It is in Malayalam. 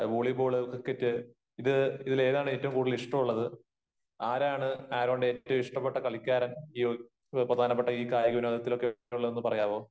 വോളിബോള് ക്രിക്കറ്റ് ഇത് ഇതിലേതാണ് ഏറ്റവും കൂടുതൽ ഇഷ്ടമുള്ളത്? ആരാണ് ആരോണിന് ഏറ്റവും ഇഷ്ടപ്പെട്ട കളിക്കാരൻ? ഈ പ്രധാനപ്പെട്ട ഈ കായിക വിനോദത്തിലൊക്കെ ഉള്ളതെന്ന് പറയാമോ?